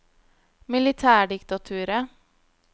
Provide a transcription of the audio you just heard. militærdiktaturet